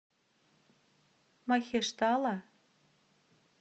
махештала